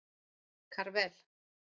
Karvel